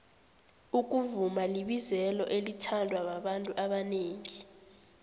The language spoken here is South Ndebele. ukuvuma libizelo elithandwababantu abonengi